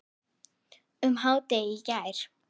um hádegið í gær.